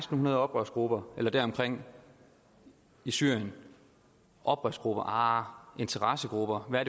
hundrede oprørsgrupper eller deromkring i syrien oprørsgrupper ahr interessegrupper hvad